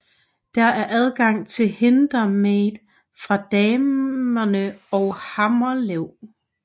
Der er adgang til Hindemade fra Damende og Hammelev